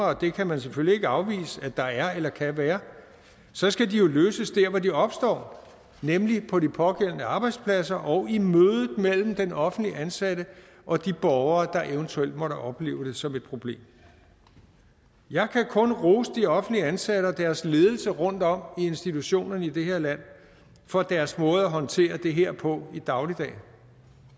og det kan man selvfølgelig ikke afvise at der er eller kan være så skal de jo løses der hvor de opstår nemlig på de pågældende arbejdspladser og i mødet mellem den offentligt ansatte og de borgere der eventuelt måtte opleve det som et problem jeg kan kun rose de offentligt ansatte og deres ledelser rundt om i institutionerne i det her land for deres måde at håndtere det her på i dagligdagen